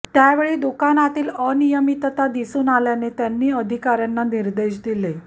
त्यावेळी दुकानातील अनियमितता दिसून आल्याने त्यांनी अधिकाऱ्यांना निर्देश दिले